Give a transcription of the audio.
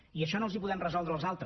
i això no els ho podem resoldre els altres